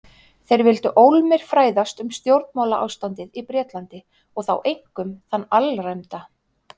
Þeir vildu ólmir fræðast um stjórnmálaástandið í Bretlandi- og þá einkum þann alræmda